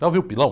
Já ouviu pilão?